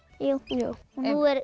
jú nú er